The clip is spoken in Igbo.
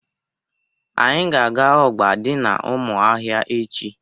Anyị ga-aga ọgba dị n'ụmụahịa echi.